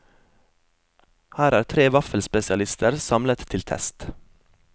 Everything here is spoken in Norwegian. Her er tre vaffelspesialister samlet til test.